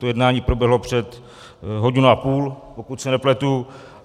To jednání proběhlo před hodinou a půl, pokud se nepletu.